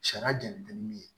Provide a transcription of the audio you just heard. Sariya jɛni tɛ ni min ye